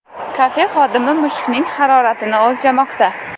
Kafe xodimi mushukning haroratini o‘lchamoqda.